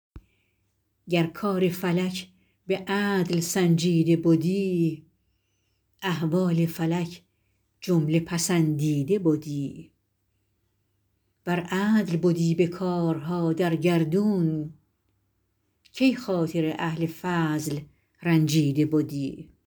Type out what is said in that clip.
گر کار فلک به عدل سنجیده بدی احوال فلک جمله پسندیده بدی ور عدل بدی به کارها در گردون کی خاطر اهل فضل رنجیده بدی